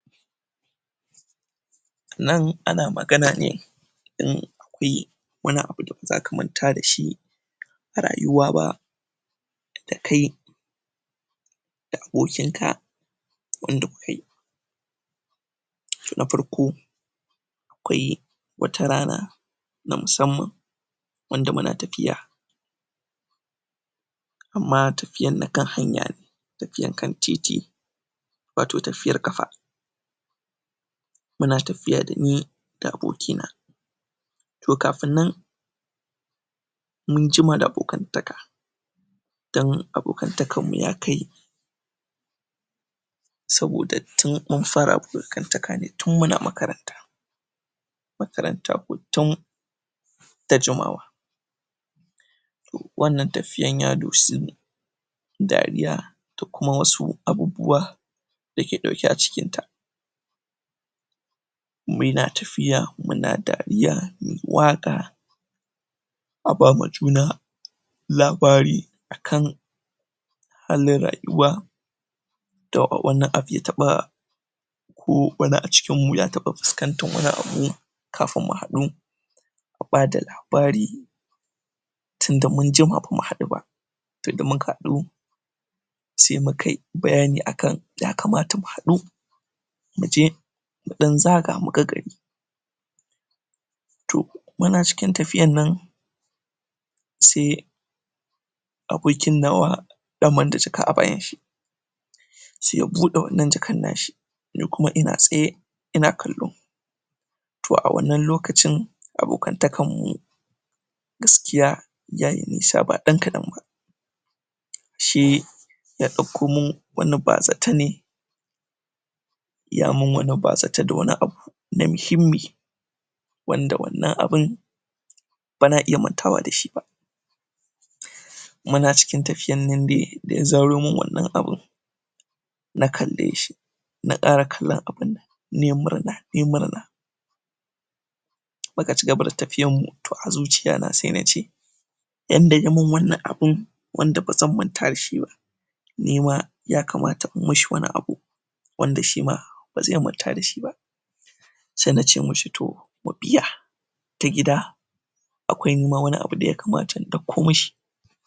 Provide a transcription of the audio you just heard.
nan ana maga na ne in akwai wani abu da baza ka manta da shi a rayuwa ba da kai da abokin ka abunda kukai na farko akwai wata rana na musamman wanda muna tafiya amma tafiyan na kan hanya ne tafiyan kan titi wato tafiyar ƙafa muna tafiya dani da aboki na to kafin nan mun jima da abokan taka dan abokantakan mu yakai saboda tin mun fara abokantaka ne tun muna makaranta makaranta ko tin da jimawa wannan tafiyan ya dosi ne dariya da kuma wasu abubuwa dake ɗauke a cikinta muna tafiya muna dariya muyi waƙa a bama juna labari akan fannin rayuwa to wannan abu ya taɓa ko wani a cikin mu ya taɓa fuskantar wani abu kafin mu haɗu a bada labari tinda mun jima bamu haɗu ba to da muka haɗu se mukai bayani akan ya kamata mu haɗu muje muɗan zaga muga gari to muna cikin tafiyan nan se abokin nawa daman da jaka a bayan shi se ya buɗe wannan jakan nashi ni kuma ina tsaye ina kallo to a wannan lokacin abokantakan mu gaskiyayayi nisa ba ɗan kaɗan ba shi ya ɗakko min wani bazata ne yamin wani bazata da wani abu na mushimmi wanda wannan abun bana iya mantawa dashi ba muna cikin tafiyannan dai da ya zaro min wannan abu na kalleshi na ƙara kallon abun nai murna nai murna muka ci gaba da tafiyar mu to a zuciya na se nace inda yamin wannan abun wanda bazan manta dashi ba nima ya kamata in mishi wani abu wanda shima baze manta dashi ba se nace mishi to mu biya ta gida akwai nima wani abu da yakamata in ɗakko mishi